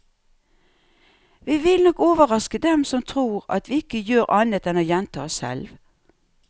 Vi vil nok overraske dem som tror at vi ikke gjør annet enn å gjenta oss selv.